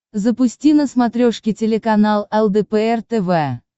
запусти на смотрешке телеканал лдпр тв